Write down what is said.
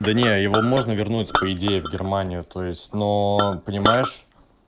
да не его можно вернуть по идее в германию то есть но понимаешь